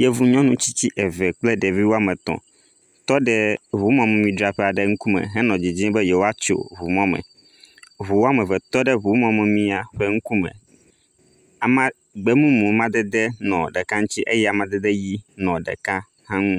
Yevu nyɔnu tsitsi eve kple ɖevi woame etɔ̃ tɔ ɖe ŋumɔmemidzraƒe aɖe ŋkume henɔ didim be yewoatso ŋumɔ me. Ŋu wome eve tɔ ɖe ŋumɔmia ƒe ŋkume. Gbe mumu amadede nɔ ɖeka ŋuti eye amadede ʋi nɔ ɖeka hã ŋu.